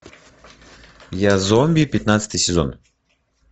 я зомби пятнадцатый сезон